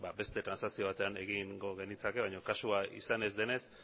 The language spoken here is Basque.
beste transakzio batean egingo genitzake baino kasua izan ez denez